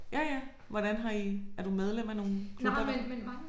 Ja ja hvordan har I? Er du medlem af nogen klubber?